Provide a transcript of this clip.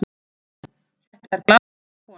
Þetta er glaðleg kona.